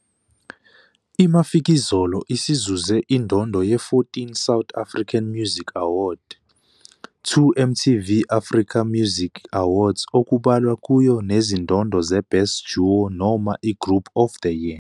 IMafikizolo isizuze indondo ye-14 South African Music Award, 2 MTV Africa Music Awards okubalwa kuyo nezindondo zeBest Duo noma iGroup of the Year.